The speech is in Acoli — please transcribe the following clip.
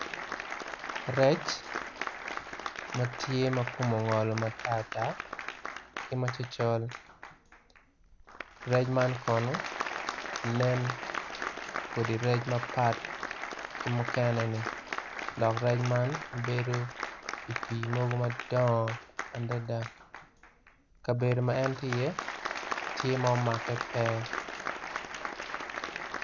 Rec matye makome ongo matartar ki macocol, rec man kono nen kodi rec mapat ki mukene ni dok rec man bedo ipi mogo madongo adada kabedo ma en tye iye tye ma omake pe.